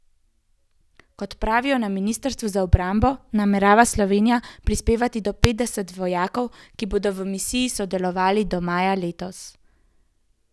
Kot pravijo na ministrstvu za obrambo, namerava Slovenija prispevati do petdeset vojakov, ki bodo v misiji sodelovali od maja letos.